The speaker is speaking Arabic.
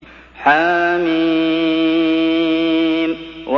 حم